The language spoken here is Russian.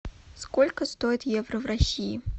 сколько стоит евро в россии